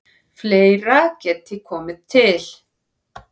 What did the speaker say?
Fleira geti komið til.